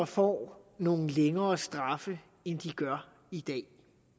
får nogle længere straffe end de gør i dag